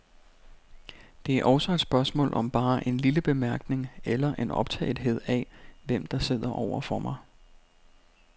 Det er også et spørgsmål om bare en lille bemærkning eller en optagethed af, hvem der sidder over for mig.